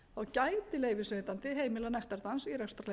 gæti leyfisveitandi heimilað nektardans í rekstrarleyfi ef þess er